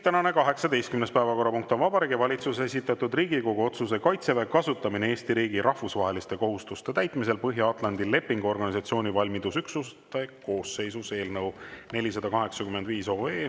Tänane 18. päevakorrapunkt on Vabariigi Valitsuse esitatud Riigikogu otsuse "Kaitseväe kasutamine Eesti riigi rahvusvaheliste kohustuste täitmisel Põhja-Atlandi Lepingu Organisatsiooni valmidusüksuste koosseisus" eelnõu 485.